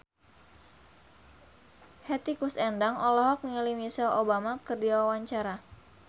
Hetty Koes Endang olohok ningali Michelle Obama keur diwawancara